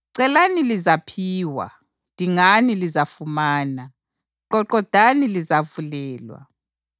“Celani lizaphiwa; dingani lizafumana; qoqodani lizavulelwa.